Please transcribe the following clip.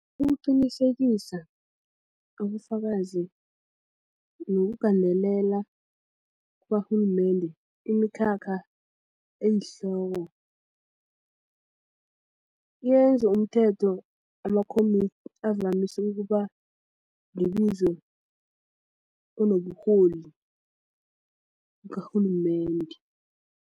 Ukuqinisekisa ubufakazi nokugandelela kukarhulumende imikhakha eyihloko yenza umthetho avamise ukuba libizo onoburholi bukarhulumende.